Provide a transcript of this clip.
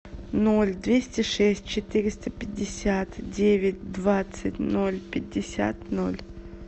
ноль двести шесть четыреста пятьдесят девять двадцать ноль пятьдесят ноль